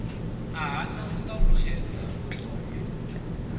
a hana u ṱanganedza mukovhe